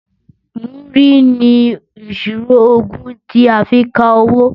Múrí ni ìṣirò ogún ti a fi ń kawó.